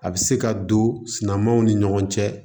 A bɛ se ka don sumanw ni ɲɔgɔn cɛ